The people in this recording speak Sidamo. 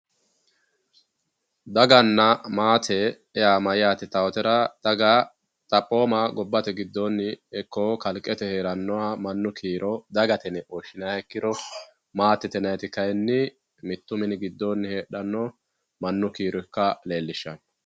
daganna maate yaa mayyaate yitawootera. daga xaphooma gobbate giddoonni ikko kalqete heerannoha mannu kiiro dagate yine woshshinanniha ikkiro maatete yinayiiti kayiinni mittu mini giddoonni heedhanno mannu kiiro ikka leellishshanno.